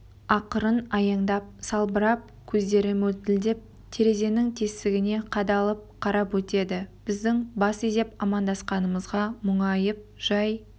ақырын аяңдап салбырап көздері мөлтілдеп терезенің тесігіне қадалып қарап өтеді біздің бас изеп амандасқанымызға мұңайып жай